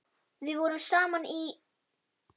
Við vorum saman í